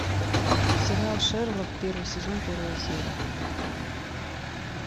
сериал шерлок первый сезон первая серия